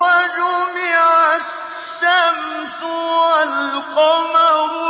وَجُمِعَ الشَّمْسُ وَالْقَمَرُ